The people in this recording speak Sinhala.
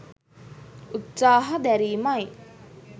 උත්සාහ දෑරීමයි.